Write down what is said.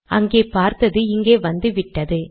அங்கே பார்த்தது இங்கே வந்துவிட்டது